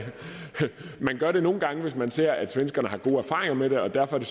man gør det nogle gange hvis man ser at svenskerne har gode erfaringer med det og derfor